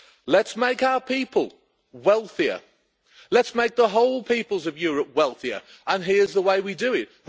Let's make our people wealthier. Let's make the whole peoples of Europe wealthier and here's the way we do it.